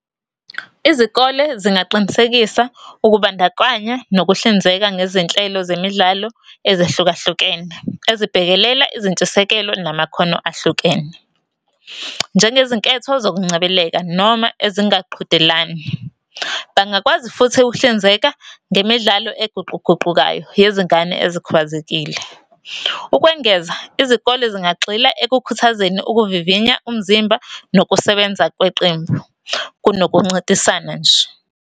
Izikole zingaqinisekisa ukubandakanya, nokuhlinzeka ngezinhlelo zemidlalo ezehlukahlukene, ezibhekelela izintshisekelo namakhono ahlukene. Njengezinketho zokungcebeleka, noma ezingaqhudelani. Bangakwazi futhi ukuhlinzeka ngemidlalo eguquguqukayo, yezingane ezikhubazekile. Ukwengeza, izikole zingagxila ekukhuthazeni ukuvivinya umzimba, nokusebenza kweqembu, kunokuncintisana nje.